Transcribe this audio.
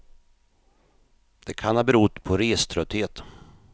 Det kan ha berott på reströtthet.